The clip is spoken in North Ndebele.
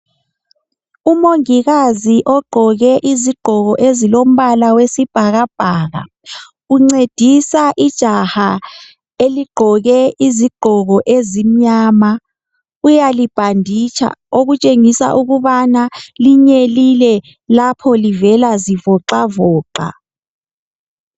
Umongikazi ogqoke izigqoko ezilombala wesibhakabhaka uncedisa ijahla eligqoke izigqoko ezimnyama uyalibhanditsha okutshengisa ukubana linyelile lapho livela zivocavoca.